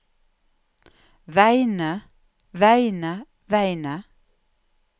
vegne vegne vegne